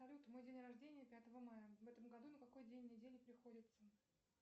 салют мой день рождения пятое мая в этом году на какой день недели приходится